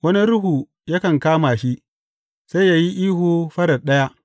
Wani ruhu yakan kama shi, sai ya yi ihu farar ɗaya.